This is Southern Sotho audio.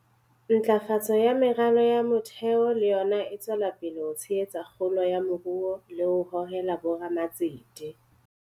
Ntlafatso ya meralo ya motheo le yona e tswela pele ho tshehetsa kgolo ya moruo le ho hohela bo ramatsete.